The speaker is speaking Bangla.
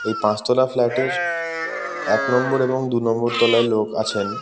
এই পাঁচতলা ফ্লাট -এর এক নম্বর এবং দু নম্বর তলায় লোক আছেন।